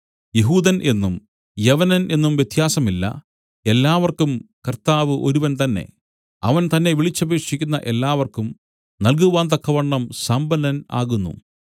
യെഹൂദൻ എന്നും യവനൻ എന്നും വ്യത്യാസമില്ല എല്ലാവർക്കും കർത്താവ് ഒരുവൻ തന്നേ അവൻ തന്നെ വിളിച്ചപേക്ഷിക്കുന്ന എല്ലാവർക്കും നൽകുവാന്തക്കവണ്ണം സമ്പന്നൻ ആകുന്നു